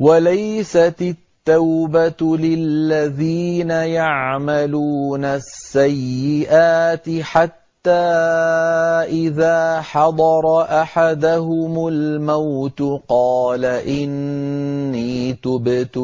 وَلَيْسَتِ التَّوْبَةُ لِلَّذِينَ يَعْمَلُونَ السَّيِّئَاتِ حَتَّىٰ إِذَا حَضَرَ أَحَدَهُمُ الْمَوْتُ قَالَ إِنِّي تُبْتُ